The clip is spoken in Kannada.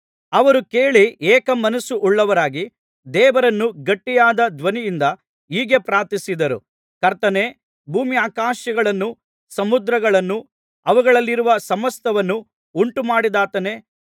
ಅವರು ಕೇಳಿ ಏಕಮನಸ್ಸು ಉಳ್ಳವರಾಗಿ ದೇವರನ್ನು ಗಟ್ಟಿಯಾದ ಧ್ವನಿಯಿಂದ ಹೀಗೆ ಪ್ರಾರ್ಥಿಸಿದರು ಕರ್ತನೇ ಭೂಮ್ಯಾಕಾಶಗಳನ್ನೂ ಸಮುದ್ರಗಳನ್ನೂ ಅವುಗಳಲ್ಲಿರುವ ಸಮಸ್ತವನ್ನೂ ಉಂಟುಮಾಡಿದಾತನೇ